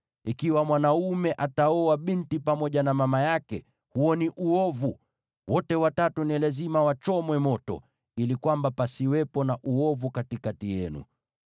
“ ‘Ikiwa mwanaume ataoa binti pamoja na mama yake, huo ni uovu. Wote watatu ni lazima wachomwe moto, ili kwamba pasiwepo na uovu katikati yenu.